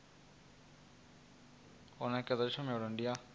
u nekedza tshumelo ndi ya